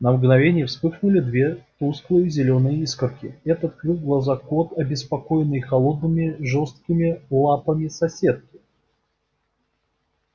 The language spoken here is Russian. на мгновение вспыхнули две тусклые зелёные искорки это открыл глаза кот обеспокоенный холодными жёсткими лапами соседки